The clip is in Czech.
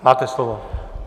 Máte slovo.